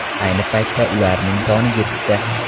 Ayni paytda ularning soni yettita.